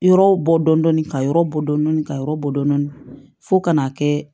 Yɔrɔw bɔ dɔndɔni ka yɔrɔ bɔ dɔɔnin dɔɔnin ka yɔrɔ bɔ dɔɔnin fo ka na kɛ